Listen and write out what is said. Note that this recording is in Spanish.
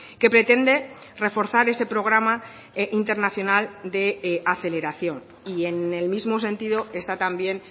que pretende reforzar ese programa internacional de aceleración y en el mismo sentido está también